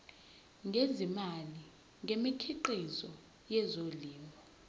ngezimali ngemikhiqizo yezolimo